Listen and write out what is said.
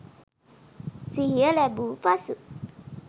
සිහිය ලැබූ පසු